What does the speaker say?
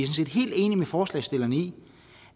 set helt enige med forslagsstillerne i